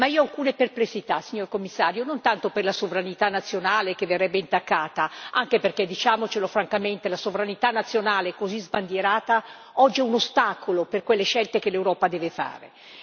Ma io ho alcune perplessità, signor Commissario, non tanto per la sovranità nazionale che verrebbe intaccata, anche perché diciamocelo francamente, la sovranità nazionale così sbandierata oggi è un ostacolo per quelle scelte che l'Europa deve fare.